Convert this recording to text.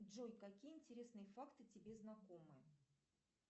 джой какие интересные факты тебе знакомы